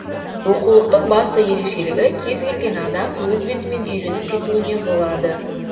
оқулықтың басты ерекшелігі кез келген адам өз бетімен үйреніп кетуіне болады